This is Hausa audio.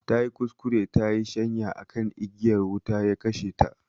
Tayi kuskure tayi shanya akan igiyar wuta, ya kashe ta